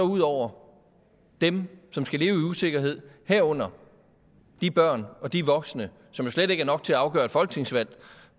ud over dem som skal leve i usikkerhed herunder de børn og de voksne som slet ikke er nok til at afgøre et folketingsvalg